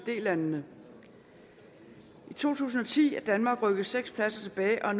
landene i to tusind og ti var danmark rykket seks pladser tilbage og